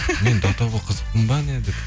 мен до того қызықпын ба не деп